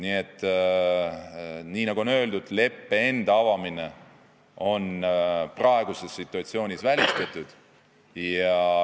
Nii et nagu öeldud, leppe enda avamine on praeguses situatsioonis välistatud.